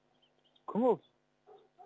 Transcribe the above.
кім ол